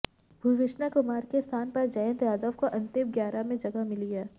भुवनेश्वर कुमार के स्थान पर जयंत यादव को अंतिम ग्यारह में जगह मिली है